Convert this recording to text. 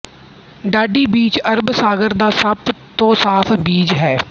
Dandi beach ਅਰਬ ਸਾਗਰ ਦਾ ਸਭ ਤੋਂ ਸਾਫ ਬੀਚ ਹੈ